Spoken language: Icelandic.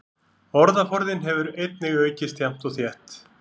Orðaforðinn hefur einnig aukist jafnt og þétt.